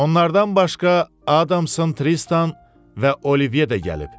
Onlardan başqa Adamson Tristan və Olivye də gəlib.